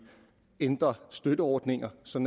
ændre støtteordninger så